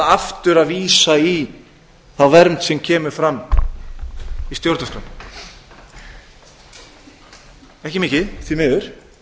aftur að vísa í þá vernd sem kemur fram í stjórnarskránni ekki mikið því miður